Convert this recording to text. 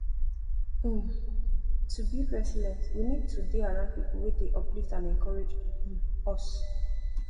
um to build resilence we need to dey around pipo wey dey uplift and encourage um us